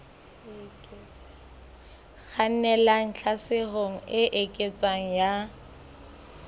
kgannelang tlhaselong e eketsehang ya